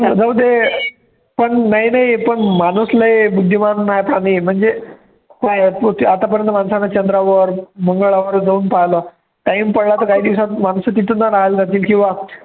जाऊदे पण नाही नाही पण माणूस लय बुद्धिमान प्राणी आहे म्हणजे आतापर्यंत माणसाने चंद्रावर, मंगळावर जाऊन पाहिलं, time पडला तर माणूस काही दिवसांनी माणसं तिथेच राहायला जातील किंवा